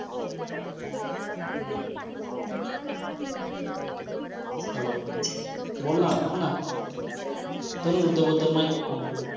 hello बोल ना सांग ना धनुर्विद्याबद्दल माहिती सांग थोडी.